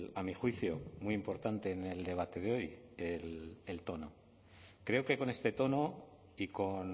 a mi juicio muy importante en el debate de hoy el tono creo que con este tono y con